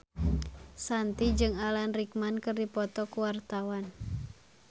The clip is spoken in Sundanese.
Shanti jeung Alan Rickman keur dipoto ku wartawan